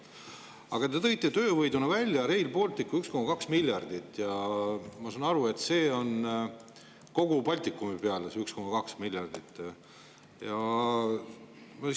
Aga te tõite töövõiduna välja Rail Balticu – 1,2 miljardit eurot – ja ma saan aru, et see 1,2 miljardit eurot on kogu Baltikumi peale.